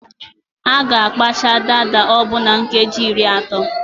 A ga akpacha dada ọbụ na nkeji iri atọ